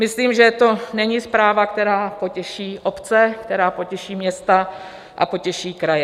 Myslím, že to není zpráva, která potěší obce, která potěší města a potěší kraje.